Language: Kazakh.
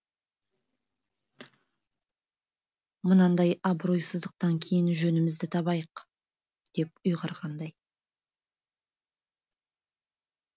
мынандай абыройсыздықтан кейін жөнімізді табайық деп ұйғарғандай